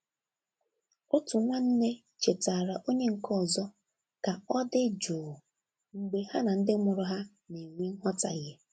Otu nwanne chetaara onye nke ọzọ ka ọ dị jụụ mgbe ha na ndị mụrụ ha na-enwe nghọtahie.